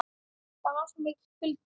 Það var svo mikill kuldi.